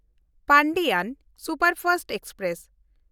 Pandian superfast express